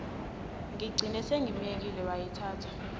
ngigcine sengimyekile wayithatha